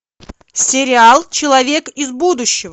сериал человек из будущего